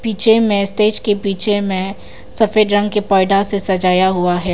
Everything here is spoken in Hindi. पीछे में स्टेज के पीछे में सफेद रंग के पर्दा से सजाया हुआ है।